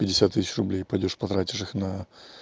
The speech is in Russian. пятьдесят тысяч рублей пойдёшь потратишь их на